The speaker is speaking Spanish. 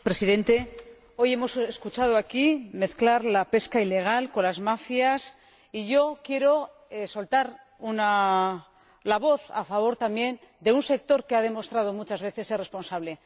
Señor Presidente, hoy hemos escuchado aquí mezclar la pesca ilegal con las mafias y yo también quiero alzar la voz a favor de un sector que ha demostrado muchas veces ser responsable.